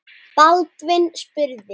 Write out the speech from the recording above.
Baldvin spurði